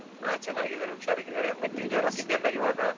ಹ, ಚೆನ್ನಾಗಿದ್ದಾರೆ ಹುಷಾರಾಗಿದ್ದಾರೆ, but ಜ್ವರ, ಶೀತ ಎಲ್ಲಾ ಇವಾಗ.